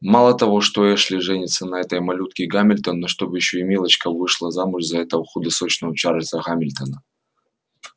мало того что эшли женится на этой малютке гамильтон но чтоб ещё и милочка вышла замуж за этого худосочного чарльза гамильтона